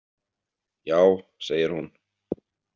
Já, segir hún.